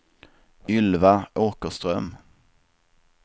Ylva Åkerström